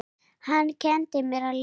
Hann kenndi mér að lesa.